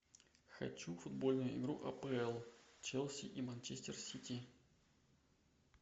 хочу футбольную игру апл челси и манчестер сити